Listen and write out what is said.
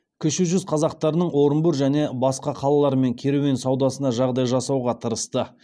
кіші жүз қазақтарының орынбор және басқа қалалармен керуен саудасына жағдай жасауға тырысты